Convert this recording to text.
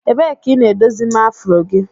Ebee ka ị na-edozima afro gị?